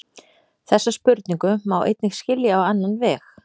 Þessa spurningu má einnig skilja á annan veg.